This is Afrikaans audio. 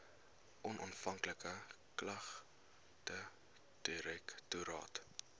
onafhanklike klagtedirektoraat